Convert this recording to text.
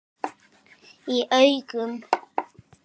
Í augum